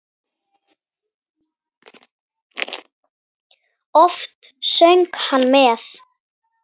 Oft söng hann með.